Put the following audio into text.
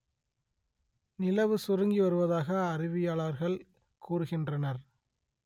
நிலவு சுருங்கி வருவதாக அறிவியலாளர்கள் கூறுகின்றனர்